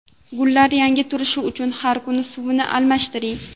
Gullar yangi turishi uchun har kuni suvini almashtiring.